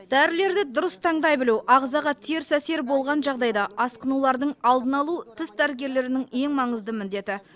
дәрілерді дұрыс таңдай білу ағзаға теріс әсері болған жағдайда асқынулардың алдын алу тіс дәрігерлерінің ең маңызды міндеті